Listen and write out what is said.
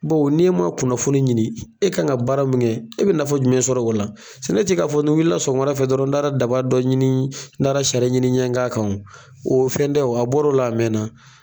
Baw n'i man kunnafoni ɲini e kan ka baara min kɛ e bɛ nafa jumɛn sɔrɔ o la sɛnɛ tɛ k'a fɔ ni n wuli la sɔgɔma fɛ dɔrɔn n taara daba dɔ ɲini n taara sari ɲini n ye k'a kan o o fɛn tɛ o sɛnɛ bɔra o la a mɛn na.